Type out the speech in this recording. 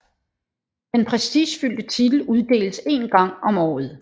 Den prestigefyldte titel uddeles én gang om året